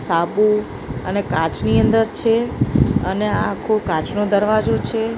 સાબુ અને કાચની અંદર છે અને આ આખો કાચનો દરવાજો છે.